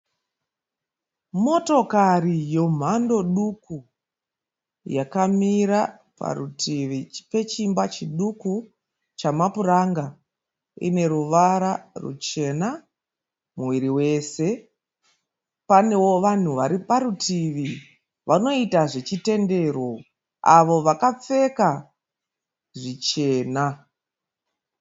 Motokari yemhando duku yakamira parutivi pechimba chiduku chamapuranga ine ruvara ruchena muviri wese. Panewo vanhu vari parutivi vanoita zvechitendero avo vakapfeka zvichena.